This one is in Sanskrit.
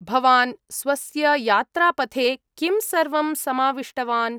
भवान् स्वस्य यात्रापथे किं सर्वं समाविष्टवान्?